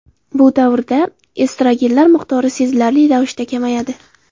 Bu davrda estrogenlar miqdori sezilarli ravishda kamayadi.